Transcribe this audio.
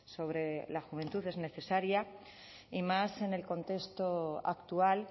sobre la juventud es necesaria y más en el contexto actual